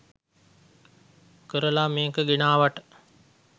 කරලා මේක ගෙනාවට